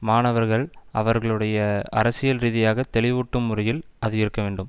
மாணவர்கள் அவர்களுடைய அரசியல் ரீதியாக தெளிவூட்டும் முறையில் அது இருக்க வேண்டும்